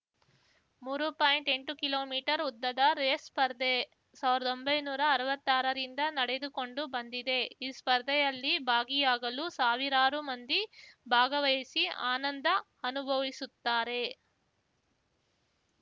ಮೂರು ಪಾಯಿಂಟ್ಎಂಟು ಕಿಲೋಮೀಟರ್ ಉದ್ದದ ರೇಸ್ ಸ್ಪರ್ಧೆ ಸಾವ್ರ್ದೊಂಬೈ ನೂರಾ ಅರ್ವತ್ತಾರರಿಂದ ನಡೆದುಕೊಂಡು ಬಂದಿದೆ ಈ ಸ್ಪರ್ಧೆಯಲ್ಲಿ ಭಾಗಿಯಾಗಲು ಸಾವಿರಾರು ಮಂದಿ ಭಾಗವಹಿಸಿ ಆನಂದ ಅನುಭವಿಸುತ್ತಾರೆ